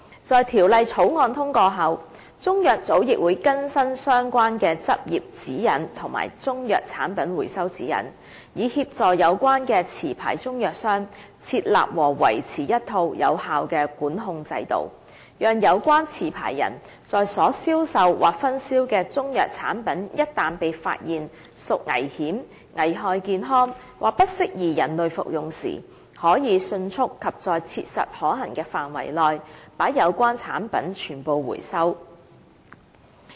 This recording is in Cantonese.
在《條例草案》通過後，中藥組亦會更新相關的執業指引和《中藥產品回收指引》，以協助有關持牌中藥商，設立和維持一套有效的管控制度，讓有關持牌人在所銷售或分銷的中藥產品一旦被發現屬危險、危害健康或不適宜人類服用時，可以迅速及在切實可行的範圍內，把有關產品全部收回。